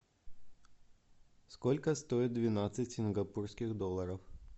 сколько стоит двенадцать сингапурских долларов